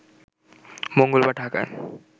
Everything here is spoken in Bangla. মঙ্গলবার ঢাকায়